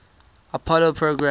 apollo program